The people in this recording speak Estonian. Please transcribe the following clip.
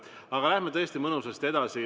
Aga läheme tõesti mõnusasti edasi.